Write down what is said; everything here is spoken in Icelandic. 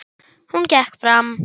Hún gekk fram.